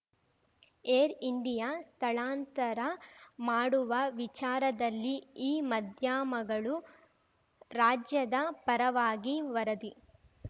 air India ಸ್ಥಳಾಂತರ ಮಾಡುವ ವಿಚಾರದಲ್ಲಿ ಈ ಮಧ್ಯಮಗಳು ರಾಜ್ಯದ ಪರವಾಗಿ ವರದಿ